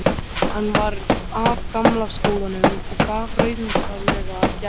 Hann var af gamla skólanum og gaf rausnarlegar gjafir.